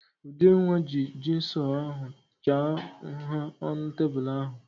Udenwa ji jigsọ ahụ chaa nha ọnụ tebụl ahụ.